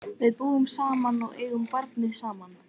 Við búum saman og eigum barnið saman.